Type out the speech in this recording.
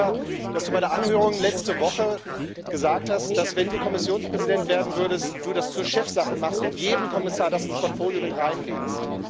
Ich bin dankbar, dass du bei der Anhörung letzte Woche gesagt hast, dass, wenn du Kommissionspräsident werden würdest, du das zur Chefsache machst und das jedem Kommissar ins Portfolio mit reinlegst.